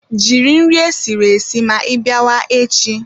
Jiri nri esiri esi ma ịbịa wa echi